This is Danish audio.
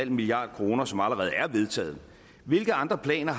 milliard kr som allerede er vedtaget hvilke andre planer